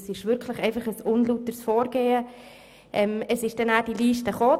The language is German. Dieses Vorgehen ist wirklich unlauter.